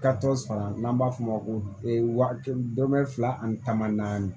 Ka tɔ sɔrɔ n'an b'a f'o ma ko wa kelen dɔrɔmɛ fila ani kɛmɛ naani